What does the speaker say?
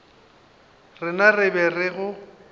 rena re be re go